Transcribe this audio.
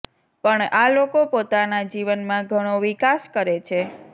પણ આ લોકો પોતાના જીવનમાં ઘણો વિકાસ કરે છે